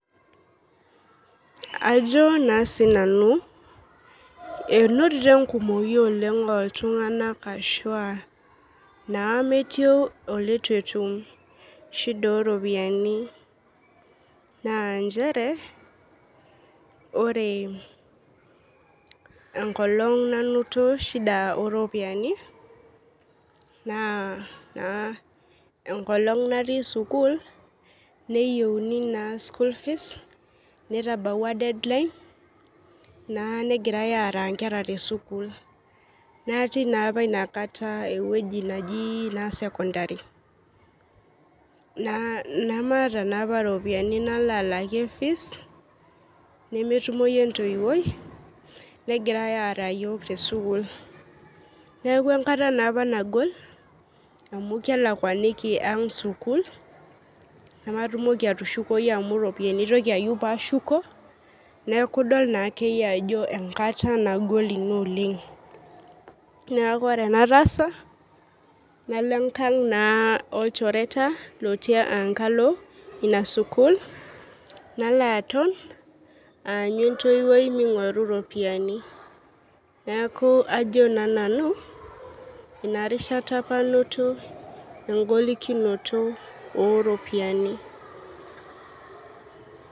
Ajo na sinanu einotito enkumoi oleng oltunganak ashu aa nametii olituetum shida oropiyiani na nchere ore enkolong nainoto shida oropiyiani na enkolong natii sukul neyieuni school fees netabawua deadline negirai aara nkera tesukul natii na inakata ewoi naji sekondari namaata na inakata ropiyani nalo alakie fees nemetumoi entoiinegirai aara yiol tesukul neaku enkata nagol amu kelakwakinibaang sukul namatumoki atushukoi amu ropiyani aigil ayieu pashuko neaku idol naduake ajo enkata nagol oleng neaku ore enataasa nalo enkang lolchereta otii enkalo inasukul aanyu entoiwoi mingoru ropiyani neaku ajo sinanu inarishata apa ainoto engolikino oropiyiani.